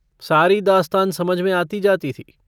सारी दास्तान समझ में आती जाती थी।